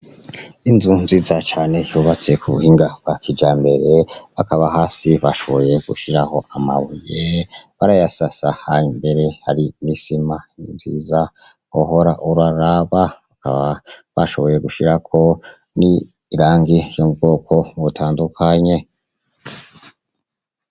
Inzu nziza cane yubatse kubuhinga bwa kijambere hakaba hasi barashoboye gushiraho amabuye barayasasa mbere hari n'isima nziza wohora uraraba bakaba barashoboye gushirako n'irangi ry'ubwoko butandukanye.